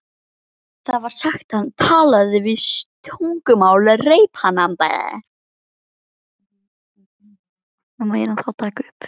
Það var sagt að hann talaði sjö tungumál reiprennandi.